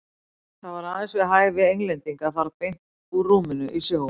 Það var aðeins við hæfi Englendinga að fara beint úr rúminu í sjóinn.